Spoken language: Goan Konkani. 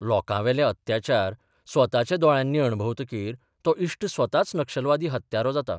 लोकांवेले अत्याचार स्वताच्या दोळ्यांनी अणभवतकीर तो इश्ट स्वताच नक्षलवादी हत्यारो जाता.